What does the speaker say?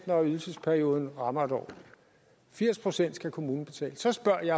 når ydelsesperioden rammer en år firs procent skal kommunen betale så spørger jeg